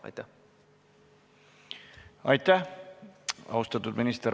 Aitäh, austatud minister!